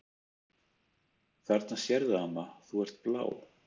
"""Þarna sérðu amma, þú ert blá."""